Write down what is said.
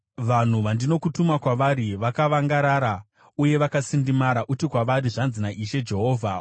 Vanhu vandinokutuma kwavari, vakavangarara uye vakasindimara. Uti kwavari, ‘Zvanzi naIshe Jehovha.’